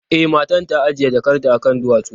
E, matar ta ajiye jakarta akan duwatsu.